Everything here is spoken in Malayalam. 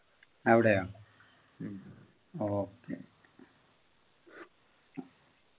എവിടെയോ